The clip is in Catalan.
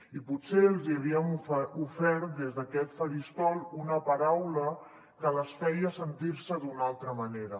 i potser els hi havíem ofert des d’aquest faristol una paraula que les feia sentir se d’una altra manera